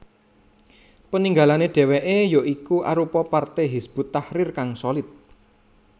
Peninggalane dheweke ya iku arupa partai Hizbut Tahrir kang solid